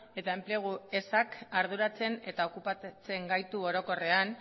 eta enplegu ezak arduratzen eta okupatzen gaitu orokorrean